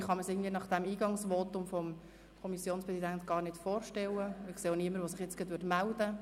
Das kann ich mir nach dem Eingangsvotum des Kommissionspräsidenten zwar nicht vorstellen, und ich sehe auch niemanden, der sich meldet.